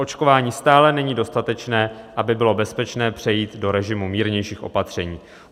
Proočkování stále není dostatečné, aby bylo bezpečné přejít do režimu mírnějších opatření.